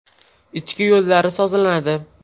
Ichki yo‘llari sozlanadi.